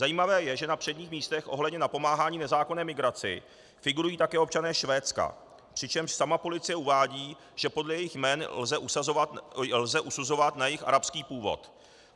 Zajímavé je, že na předních místech ohledně napomáhání nezákonné migraci figurují také občané Švédska, přičemž sama policie uvádí, že podle jejich jmen lze usuzovat na jejich arabský původ.